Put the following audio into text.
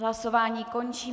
Hlasování končím.